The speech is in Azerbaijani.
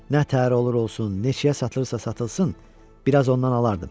Nətər olur-olsun, neçəyə satılırsa satılsın, biraz ondan alardım.